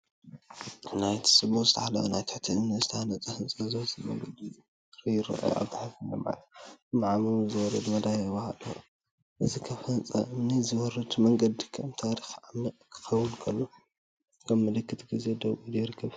እዚ ብጽቡቕ ዝተሓለወ ናብ ትሕቲ እምኒ ዝተሃንጸ ህንጻ ዝወስድ መንገዲ እግሪ ይርአ። ኣብ ታሕቲ ናብቲ ጸልማት መዓሙቕ ዝወርድ መደያይቦ ኣሎ። እዚ ካብ ህንጻ እምኒ ዝወርድ መንገዲ ከም ታሪኽ ዓሚቕ ክኸውን ከሎ፡ ከም ምልክት ግዜ ደው ኢሉ ይርከብ።